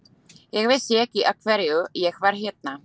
Ég vissi ekki af hverju ég var hérna.